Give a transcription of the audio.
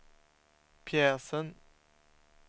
pjäsen